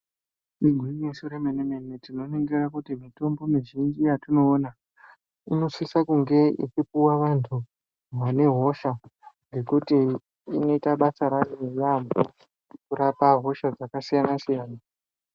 Igwinyiso remenemene tinoningira kuti mitombo mizhinji yatinowona unosise kunge ichipiwa anhu vane hosha ngekuti inoita basa rayo nehunyanzvi kurapa hosha dzakasiyana siyana.